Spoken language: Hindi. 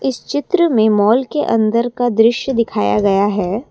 इस चित्र में माल के अंदर का दृश्य दिखाया गया है।